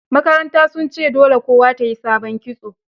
Makaranta sun ce dole kowa ta yi sabon kitso